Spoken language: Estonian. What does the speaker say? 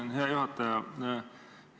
Aitäh, hea juhataja!